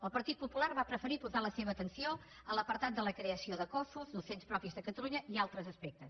el partit popular va preferir posar la seva atenció en l’apartat de la creació de cossos docents propis de catalunya i altres aspectes